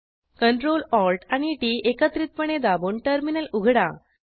Ctrl Alt आणि T T एकत्रितपणे दाबून टर्मिनल उघडा